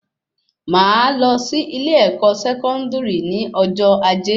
Máa lọ sí ilé ẹkọ sẹkọndiri ní ọjọ ajé